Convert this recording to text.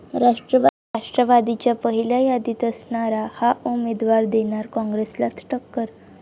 राष्ट्रवादीच्या पहिल्या यादीत असणारा 'हा' उमेदवार देणार काँग्रेसलाच टक्कर